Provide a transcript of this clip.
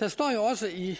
der står jo også i